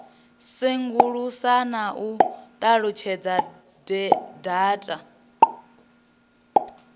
sengulusa na u ṱalutshedza data